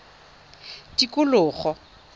tikologo